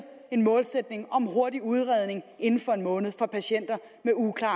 en målsætning om hurtig udredning inden for en måned for patienter med uklare